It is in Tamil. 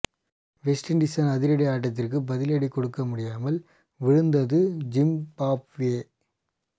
வெஸ்ட் இண்டீசின் அதிரடி ஆட்டத்துக்கு பதிலடி கொடுக்க முடியாமல் வீழ்ந்தது ஜிம்பாப்வே